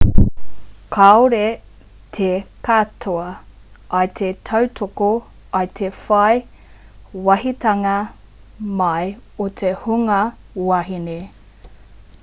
kāore te katoa i te tautoko i te whai wāhitanga mai o te hunga wahine